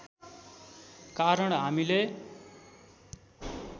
कारण हामीले